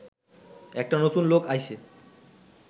একটা নতুন লোক আইছে